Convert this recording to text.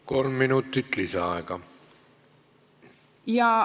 Kolm minutit lisaaega.